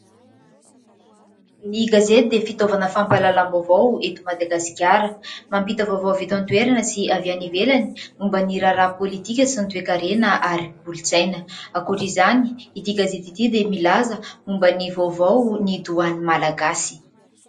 Ny gazety dia fitaovana fampalalam-baovao eto Madagasikara. Mampita vaovao avy eto an-toerana sy avy any ivelany momba ny raharaha politika sy ny toekarena ary kolontsaina. Ankoatra izay, ity gazety ity dia milaza momba ny vaovaon'ny Doany Malagasy.